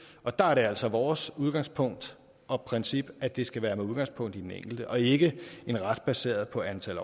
og der er det altså vores udgangspunkt og princip at det skal være med udgangspunkt i den enkelte og ikke en ret baseret på antal